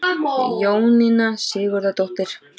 Jóninna Sigurðardóttir.